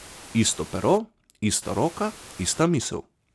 Isto pero, ista roka, ista misel.